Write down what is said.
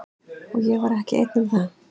Og ég var ekki einn um það.